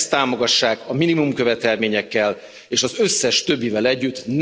Ezt támogassák a minimumkövetelményekkel és az összes többivel együtt.